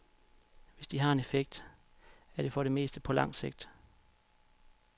Hvis de har en effekt, er det for det meste på lang sigt.